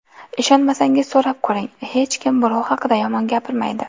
Ishonmasangiz, so‘rab ko‘ring, hech kim birov haqida yomon gapirmaydi.